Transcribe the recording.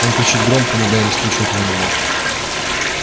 он кричит громко но в данном случае этого мало